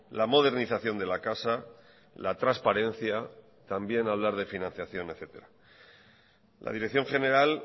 la modernización de la casa la transparencia también hablar de financiación etc la dirección general